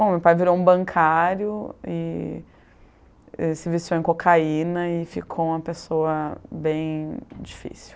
Bom, meu pai virou um bancário e se viciou em cocaína e ficou uma pessoa bem difícil.